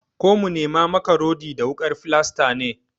Ko mu nema maka rodi da wukar filasta ne?